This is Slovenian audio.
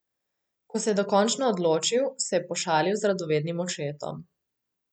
Ko se je dokončno odločil, se je pošalil z radovednim očetom.